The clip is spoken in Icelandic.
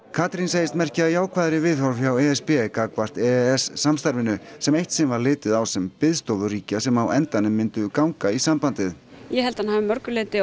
Katrín segist merkja jákvæðari viðhorf hjá e s b gagnvarp e e s samstarfinu sem eitt sinn var litið á sem biðstofu ríkja sem á endanum myndu ganga í sambandið ég held að hann hafi að mörgu leyti